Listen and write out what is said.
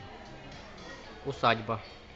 усадьба